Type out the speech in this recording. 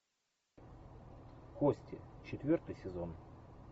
кости четвертый сезон